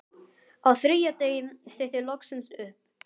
Á þriðja degi stytti loksins upp.